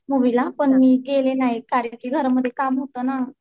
मुवीला पण गेले नाही कारण घरामध्ये काम होत ना.